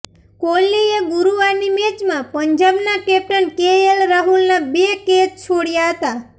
કોહલીએ ગુરુવારની મેચમાં પંજાબના કેપ્ટન કેએલ રાહુલ ના બે કેચ છોડ્યા હતા